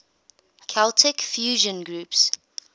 celtic fusion groups